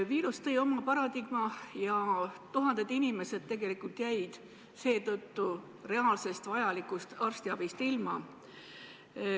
Viirus tõi oma paradigma ja tuhanded inimesed jäid seetõttu vajalikust arstiabist ilma.